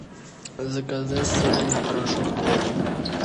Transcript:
заказать стиральный порошок тайд